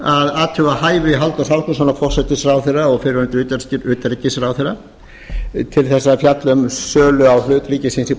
athuga hæfi halldórs ásgrímssonar forætisráðherra og fyrrverandi utanríkisráðherra til þess að fjalla um sölu á hlut ríkisins í